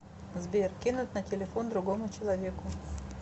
сбер кинуть на телефон другому человеку